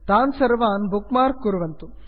तान् सर्वान् bookmark कुर्वन्तु